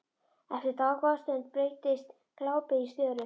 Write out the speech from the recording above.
Eftir dágóða stund breytist glápið í störu.